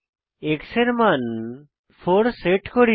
x এর মান 4 set করি